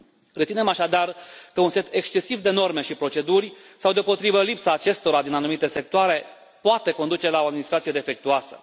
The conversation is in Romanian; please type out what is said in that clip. Reținem, așadar, că un set excesiv de norme și proceduri, sau, deopotrivă, lipsa acestora din anumite sectoare poate conduce la o administrație defectuoasă.